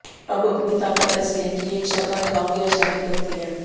अब अपनी ताकत ऐसी है कि एक शाखा गांव या शहर में लगती है